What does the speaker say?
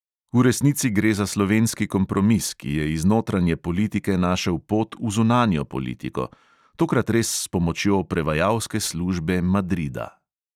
V resnici gre za slovenski kompromis, ki je iz notranje politike našel pot v zunanjo politiko – tokrat res s pomočjo prevajalske službe madrida.